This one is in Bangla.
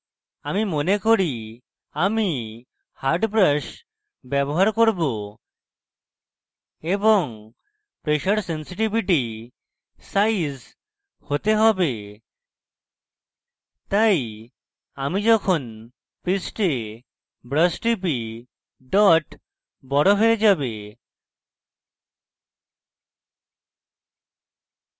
আমি মনে করি আমি hard brush ব্যবহার করব এবং pressure sensitivity size হতে হবে তাই আমি যখন পৃষ্ঠে brush টিপি dot বড় হয়ে যাবে